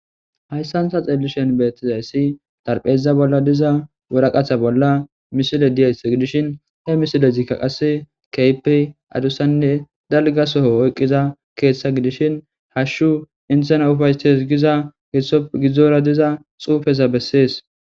Hayssanta xellishen beettizayssi darpheiza bolla diza woraqatha bolla misile diyayss gidishin he misile zikka qase keypey adussanne dalga soho oyqqiza keeththa gidishin hashshu intena ufaystes giza gidzdzora diza xuufeza bessees.